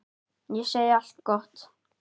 Ég segi allt gott.